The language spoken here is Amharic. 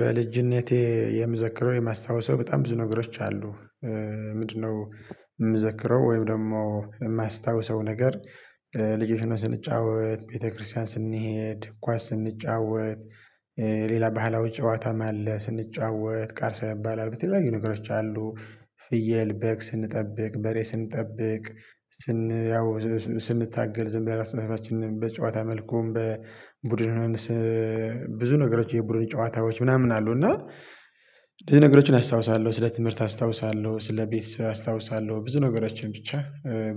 በልጅነቴ የምዘክረው የማስታወሰው በጣም ብዙ ነገሮች አሉ። ምንድነው የምዘክረው ወይም ደግሞ የማስታውሰው ነገር ልጆች ሆነን ስንጫወት፣ ቤተክርስቲያን ስንሄድ፣ ኳስ ስንጫወት ሌላ ባህላዊ ጨዋታም አለ ስንጫወት ቀርሳ ይባላል ብትለው የሚያዩ ነገሮች አሉ። ፍየል፣ በግ ስንጠብቅ በሬ ስንጠብቅ ስን ያው ስንታገል ዝም ብለን እርስበራሳችን በጨዋታ መልኩም በቡድን ሆነን ብዙ ነገሮች የቡድን ጨዋታዎች ምናምን አሉ እና ብዙ ነገሮችን አስታውሳለሁ፣ ስለ ትምህርት አስታውሳለሁ፣ ስለ ቤተሰብ አስታውሳለሁ ብዙ ነገሮችን ብቻ